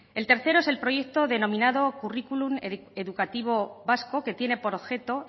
el tercero es el proyecto denominado currículum educativo vasco que tiene por objeto